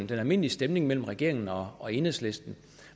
den almindelige stemning mellem regeringen og og enhedslisten